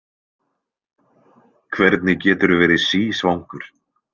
Hvernig geturðu verið sísvangur?